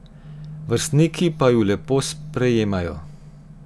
Vrstniki pa ju lepo sprejemajo.